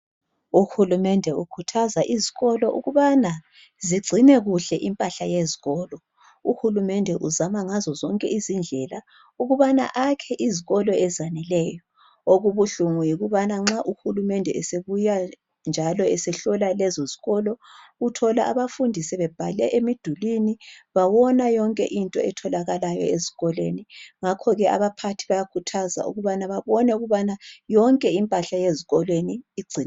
Uhulumende ukhuthaza izikolo ukubana ungcine kuhle impahla yeskolo uhulumende uzama ngazo zonke indlela ukubana ayakhe izikolo ezaneleyo okubuhlungu yikuthi nxa uhulumende esebuya njalo esehlola lezo zikolo uthola abafundi sebebhale emidulwini bawona yonke into etholakalayo ezikolweni ngakho ke abaphathi bayakhuthazwa ukubana bebone ukubana yonke impahla yezikolweni ingcinekile